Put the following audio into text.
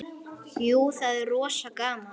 Jú, það er rosa gaman.